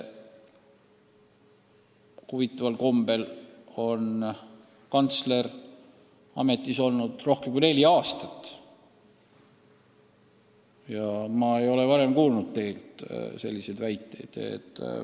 Huvitaval kombel on kantsler ametis olnud rohkem kui neli aastat ja ma ei ole varem teilt selliseid väiteid kuulnud.